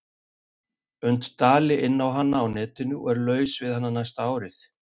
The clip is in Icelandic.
und dali inná hana á netinu og er laus við hana næsta árið.